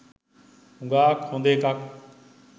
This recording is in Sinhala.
හුඟාක් හොඳ එකක්.